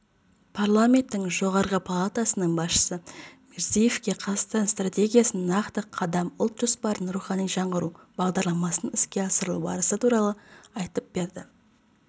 парламенттің жоғарғы палатасының басшысы мирзиеевке қазақстан стратегиясының нақты қадам ұлт жоспарының рухани жаңғыру бағдарламасының іске асырылу барысы туралы айтып берді